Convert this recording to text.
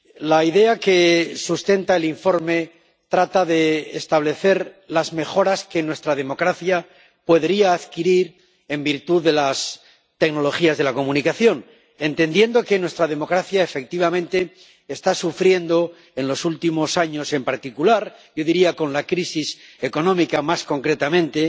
La idea que sustenta el informe trata de establecer las mejoras que nuestra democracia podría adquirir en virtud de las tecnologías de la comunicación, entendiendo que nuestra democracia, efectivamente, está sufriendo, en los últimos años en particular —yo diría con la crisis económica más concretamente—,